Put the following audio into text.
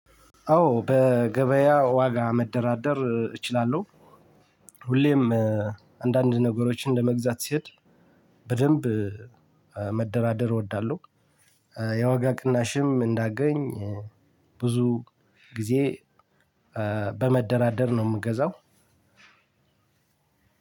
አዎ በገበያ ዋጋ መደራደር እችላለሁ። ሁሌም አንዳንድ ነገሮችን ለመግዛት ስሄድ በደንብ መደራደር እወዳለሁ። የዋጋ ቅናሽም እንዳገኝ ብዙ ጊዜ በመደራደር ነው የምገዛው።